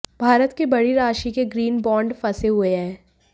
भारत के बड़ी राशि के ग्रीन बॉन्ड फंसे हुए हैं